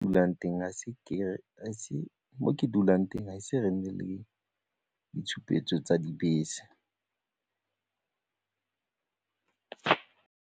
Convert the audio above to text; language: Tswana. Mo ke dulang teng ga ise re nne le ditshupetso tsa dibese.